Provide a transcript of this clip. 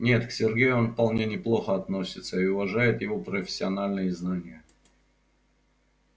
нет к сергею он вполне неплохо относится и уважает его профессиональные знания